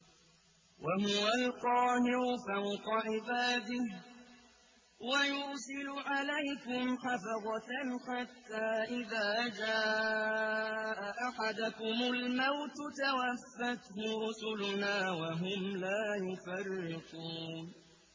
وَهُوَ الْقَاهِرُ فَوْقَ عِبَادِهِ ۖ وَيُرْسِلُ عَلَيْكُمْ حَفَظَةً حَتَّىٰ إِذَا جَاءَ أَحَدَكُمُ الْمَوْتُ تَوَفَّتْهُ رُسُلُنَا وَهُمْ لَا يُفَرِّطُونَ